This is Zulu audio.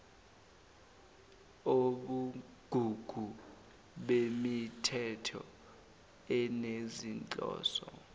ubugugu bemithetho enezinhloso